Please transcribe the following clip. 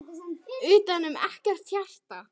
Utanum ekkert hjarta.